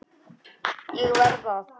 ÉG VERÐ AÐ